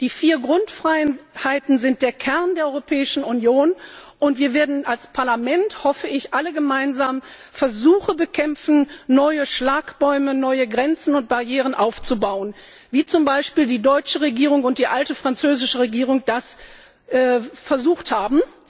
Die vier Grundfreiheiten sind der Kern der Europäischen Union, und wir werden als Parlament, hoffe ich, alle gemeinsam Versuche bekämpfen, neue Schlagbäume, neue Grenzen und Barrieren aufzubauen, wie zum Beispiel die deutsche Regierung und die alte französische Regierung das mit neuen Schlagbäumen versucht haben,